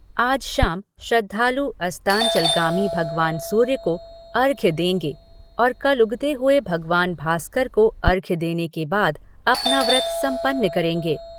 आज शाम श्रद्धालु अस्तांचलगामी भगवान सूर्य को अर्घ्य देंगे और कल उगते हुए भगवान भास्कर को अर्घ्य देने के बाद अपना व्रत सम्पन्न करेंगे।